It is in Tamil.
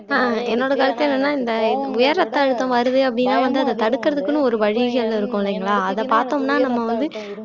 ஆஹ் என்னோட கருத்து என்னன்னா இந்த உயர் ரத்த அழுத்தம் வருது அப்படின்னா வந்து அதை தடுக்கறதுக்குன்னு ஒரு வழிகள் இருக்கும் இல்லைங்களா அதை பார்த்தோம்ன்னா நம்ம வந்து